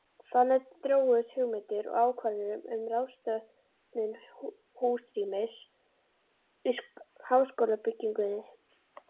Þannig þróuðust hugmyndir og ákvarðanir um ráðstöfun húsrýmis í háskólabyggingunni.